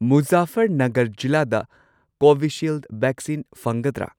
ꯃꯨꯖꯥꯐꯔꯅꯒꯔ ꯖꯤꯂꯥꯗ ꯀꯣꯚꯤꯁꯤꯜꯗ ꯚꯦꯛꯁꯤꯟ ꯐꯪꯒꯗ꯭ꯔꯥ?